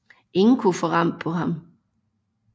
Ingen kunne få ram på ham